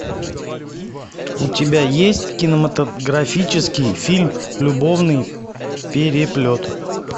у тебя есть кинематографический фильм любовный переплет